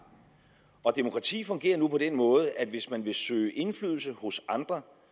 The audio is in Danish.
og demokrati fungerer nu på den måde at hvis man vil søge indflydelse hos andre